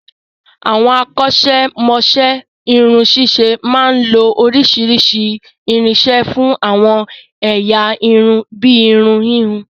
Àwọn akọ́ ṣẹ́mọ'ṣẹ́ irun ṣíṣe máa ń lo oríṣiríṣi irinṣẹ́ fún àwọn ẹ̀yà irun bíi irun híhun